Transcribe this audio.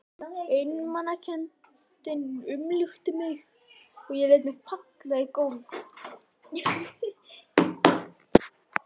Einmanakenndin umlukti mig og ég lét mig falla í gólfið.